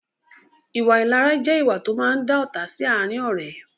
Ìwà ìlara jẹ ìwà to máa ń dá ọ́ta sì àárín ọ̀rẹ́